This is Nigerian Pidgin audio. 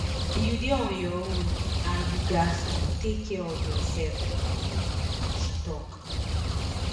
you dey on your own and you gatz to take care of yoursef she tok